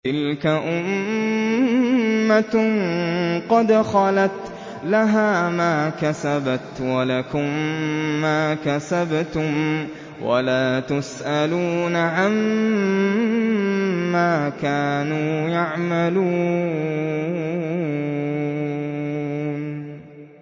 تِلْكَ أُمَّةٌ قَدْ خَلَتْ ۖ لَهَا مَا كَسَبَتْ وَلَكُم مَّا كَسَبْتُمْ ۖ وَلَا تُسْأَلُونَ عَمَّا كَانُوا يَعْمَلُونَ